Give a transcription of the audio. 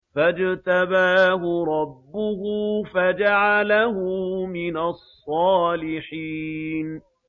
فَاجْتَبَاهُ رَبُّهُ فَجَعَلَهُ مِنَ الصَّالِحِينَ